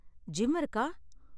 Gym இருக்கா?